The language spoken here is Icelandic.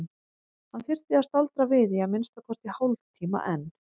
Hann þyrfti að staldra við í að minnsta kosti hálftíma enn.